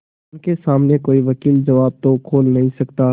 उनके सामने कोई वकील जबान तो खोल नहीं सकता